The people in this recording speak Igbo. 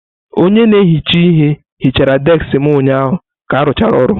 Onye na-ehicha ihe hichara deskị m ụnyaahụ ka arụchara ọrụ.